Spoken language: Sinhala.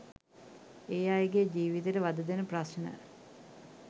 ඒ අයගේ ජීවිතයට වධදෙන ප්‍රශ්න